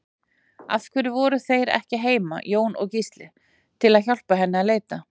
Af hverju voru þeir ekki heima, Jón og Gísli, til að hjálpa henni að leita?